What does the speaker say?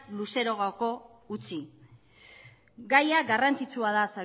luzarorako utzi gaia garrantzitsua da